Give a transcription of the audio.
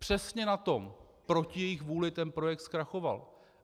Přesně na tom - proti jejich vůli - ten projekt zkrachoval.